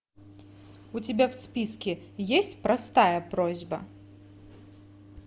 у тебя в списке есть простая просьба